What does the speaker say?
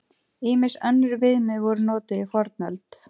Ýmis önnur viðmið voru notuð í fornöld.